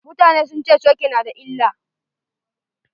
Mutane sun ce coke na da illa.